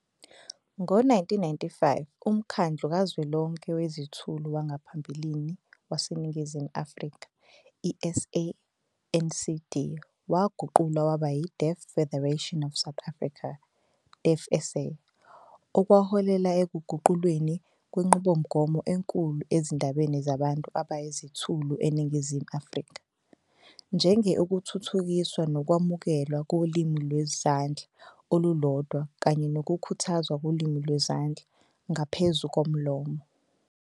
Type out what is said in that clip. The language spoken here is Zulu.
Ngo-1995, uMkhandlu Kazwelonke Wezithulu wangaphambilini waseNingizimu Afrika, i-SANCD, waguqulwa waba yi-Deaf Federation of South Africa, DeafSA, okwaholela ekuguqulweni kwenqubomgomo enkulu ezindabeni zabantu abayizithulu eNingizimu Afrika, njenge ukuthuthukiswa nokwamukelwa kolimi lwezandla olulodwa kanye nokukhuthazwa kolimi lwezandla ngaphezu komlomo.